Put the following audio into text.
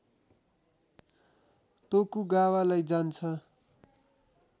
तोकुगावालाई जान्छ